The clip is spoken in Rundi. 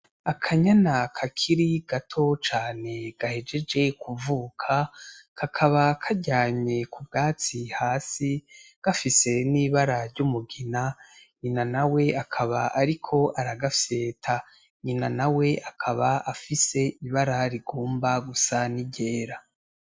Akanyana kakiri gato cane gahejeje kuvuka kakaba karyamye ku bwatsi hasi gafise n'ibara ry'umugina, nyina na we akaba ariko aragafyeta. Nyina na we akaba afise ibara rigomba gusa n'iryera.